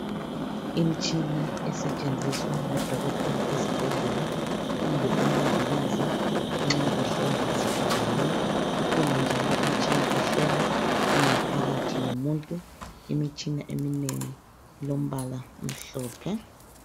Imitshina esetshenziswa ngodokotela ezibhedlela kumbe ngumongikazi nxa behlola izigulane, ikhona njalo imitshina ehlola ingaphakathi yomuntu. Imitshina eminengi ilombala omhlophe.